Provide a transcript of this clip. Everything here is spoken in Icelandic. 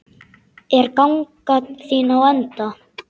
Er ganga þín á enda?